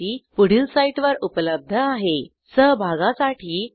ह्या ट्युटोरियलचे भाषांतर मनाली रानडे यांनी केले असून मी रंजना भांबळे आपला निरोप घेते160